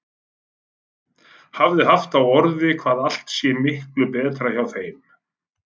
Hafi haft á orði hvað allt sé miklu betra hjá þeim.